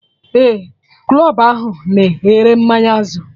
Ee, club ahụ na ere mmanya Azul